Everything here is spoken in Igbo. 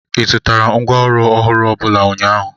ị zụtara ngwá ọrụ ọhụrụ ọbụla ụnyaahụ?